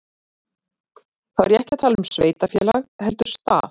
Þá er ég ekki að tala um sveitarfélag heldur stað.